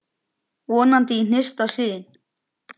Vonandi í hinsta sinn.